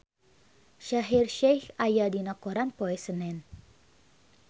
Shaheer Sheikh aya dina koran poe Senen